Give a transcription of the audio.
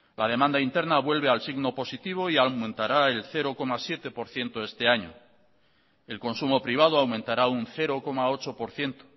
la demanda interna vuelve al signo positivo y aumentará el cero coma siete por ciento este año el consumo privado aumentará un cero coma ocho por ciento